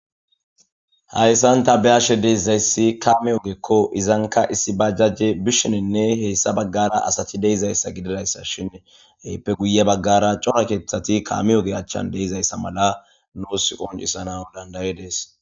Haysan ta be'ash de'izaysi kaame ogeko , izanka issi bajajey bishinine heysa bagara asati de'izaysa gididaysashn izappe guye bagara corakeethatinkaame oge achan de'izaysa mala nuusi qoncisanawu danda'es